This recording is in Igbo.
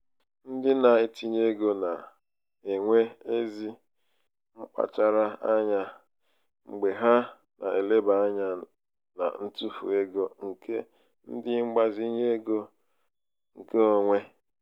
ndị na-etinye ego na-enwe ezi mkpachara anya mgbe ha na-eleba ányá na ntufu ego nke ndi mgbazinye ego nke onwe.